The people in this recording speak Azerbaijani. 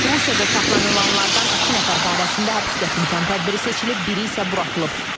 Rusiyada saxlanılanlardan iki nəfər barəsində həbs qəti imkan tədbiri seçilib, biri isə buraxılıb.